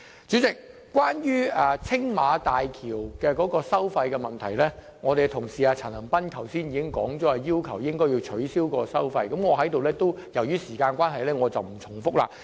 主席，關於青嶼幹線收費的問題，我們同事陳恒鑌議員剛才已提出要求取消該項收費，由於時間關係，我在此不重複。